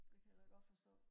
det kan jeg da godt forstå